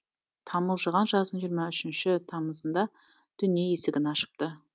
тамылжыған жаздың жиырма үшінші тамызында дүние есігін ашыпты